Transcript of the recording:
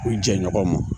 U jɛɲɔgɔn ma